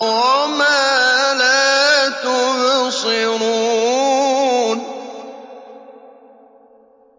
وَمَا لَا تُبْصِرُونَ